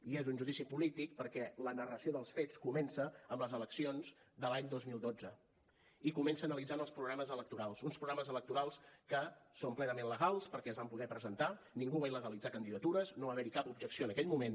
i és un judici polític perquè la narració dels fets comença amb les eleccions de l’any dos mil dotze i comença analitzant els programes electorals uns programes electorals que són plenament legals perquè es van poder presentar ningú va il·legalitzar candidatures no va haver hi cap objecció en aquell moment